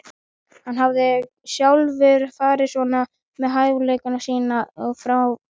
Hann hafði sjálfur farið svona með hæfileika sína og fjármuni.